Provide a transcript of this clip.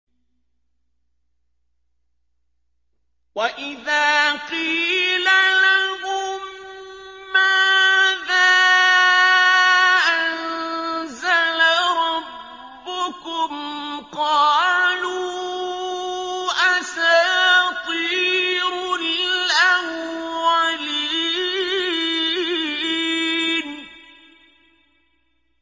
وَإِذَا قِيلَ لَهُم مَّاذَا أَنزَلَ رَبُّكُمْ ۙ قَالُوا أَسَاطِيرُ الْأَوَّلِينَ